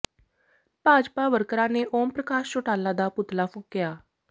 ਭਾਜਪਾ ਵਰਕਰਾਂ ਨੇ ਓਮ ਪ੍ਰਕਾਸ਼ ਚੌਟਾਲਾ ਦਾ ਪੁਤਲਾ ਫੂਕਿਆ